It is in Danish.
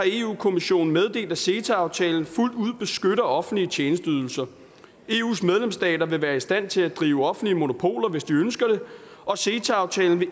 kommissionen meddelt at ceta aftalen fuldt ud beskytter offentlige tjenesteydelser eus medlemsstater vil være i stand til at drive offentlige monopoler hvis de ønsker det og ceta aftalen vil